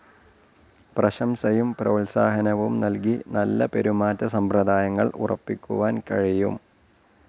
പ്രശംസയും പ്രോത്സാഹനവും നൽകി നല്ല പെരുമാറ്റസമ്പ്രദായങ്ങൾ ഉറപ്പിക്കുവാൻ കഴിയും.